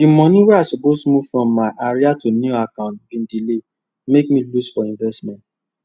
di money wey i suppose move from my ira to new account bin delay mek me lose for investment